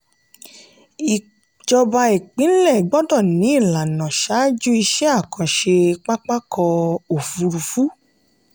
ìjọba ìpínlẹ̀ gbọ́dọ̀ ní ìlànà ṣáájú iṣẹ́ àkànṣe pápá ọkọ̀ òfurufú.